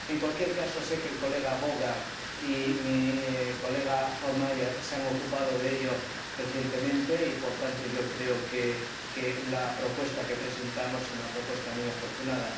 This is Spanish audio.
En cualquier caso, sé que el diputado Vaughan y mi colega Hohlmeier se han ocupado de ello recientemente y, por tanto, yo creo que la propuesta que presentamos es una propuesta muy afortunada.